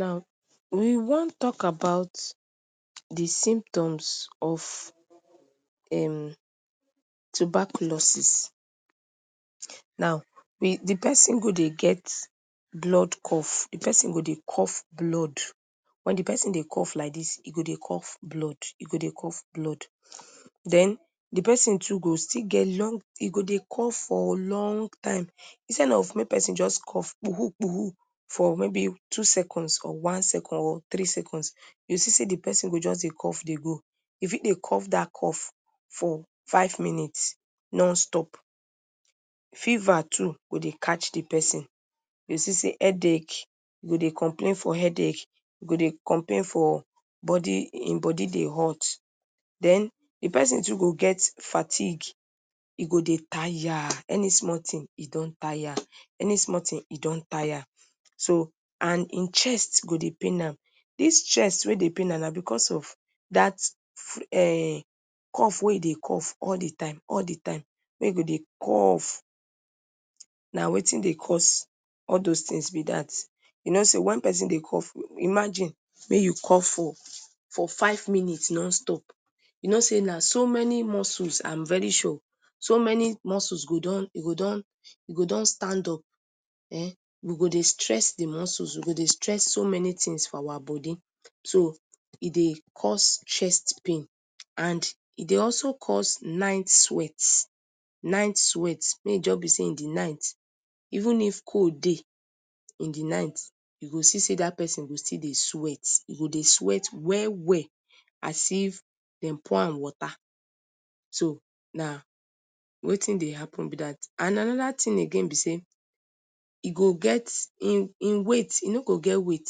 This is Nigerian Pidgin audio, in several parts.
Now, we wan tok about di simptoms of um tuberculosis. Now, we di person go dey get blood cough. Di person go de cough blood. Wen di person de cough like dis, e go dey cough blood, e go dey cough blood. Den, di person too go still get long, e go de cough for long time. Insell of mek person just cough phoo-hoo-phoo-hoo for maybe two seconds or one second or three seconds, you see say di person go just de cough dey go. E fi de cough dat cough for five minutes non stop. Fever too go de catch di person. You go see say headek, e go de complain for headek, e go de complain for bodi, im go body de hot. Den, di person too go get fatik. E go de tire. Any sumol ting e don tire. Any sumol ting e don tire. So, and in chest go de pain am. Dis chest wey de pain am, na becos of dat cough wey e de cough all de time, all de time, wey go de cough. Na wetin de cos all those tings be dat. You no say wen person dey cough, imagine mek you cough for five minutes non-stop. You no say na so many muscles, I am very sure, so many muscles go don, e go don, e go don stand up um. E go de stress de muscles, e go de stress so many tings for our bodi. So, e dey cause chest pain. And, e de also cause nite sweat. Nite sweat, make e just be say in de night. Even if cold dey in de night, you go still see say dat person go still de sweat. E go de sweat well well, as if dem pour am water. So, na wetin dey happen be dat. And anoda ting again be say, e go get, in weight, e no go get weight.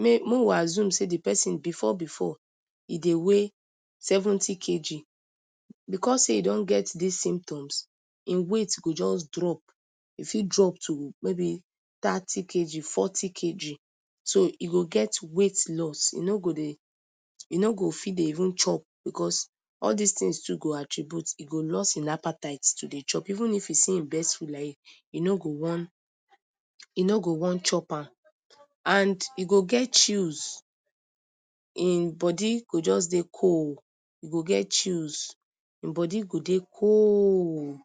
Mek we assume say di person before before e de weigh 70 kg. Becos e don get dis symptoms, in weight go jus drop. E fit drop to maybe thirty kg, forty kg. So, e go get weight loss. E no go de, e no go fit dey even chop becos all dis tings too go attribute, e go loss im appetite to de chop. Even if en see em best food like dis, e no go wan, e no go wan chop am. And, e go get chills. In body go just dey cold. E go get chills. In body go dey cold.